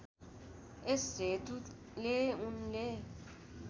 यस हेतुले उनले